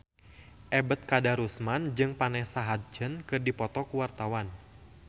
Ebet Kadarusman jeung Vanessa Hudgens keur dipoto ku wartawan